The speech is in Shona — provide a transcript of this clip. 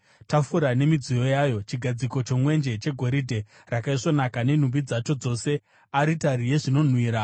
tafura nemidziyo yayo, chigadziko chomwenje chegoridhe rakaisvonaka nenhumbi dzacho dzose, aritari yezvinonhuhwira,